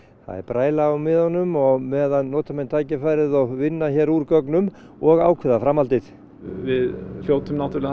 það er bræla á miðunum og á meðan nota menn tækifærið og vinna hér úr gögnum og ákveða framhaldið við hljótum náttúrulega að